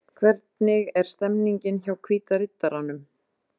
Hvernig er stemningin hjá Hvíta riddaranum?